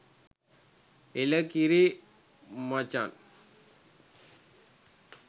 ඒලකිරි මචන්